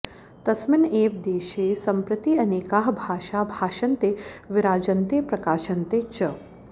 तस्मिन् एव देशे सम्प्रति अनेकाः भाषाः भाषन्ते विराजन्ते प्रकाशन्ते च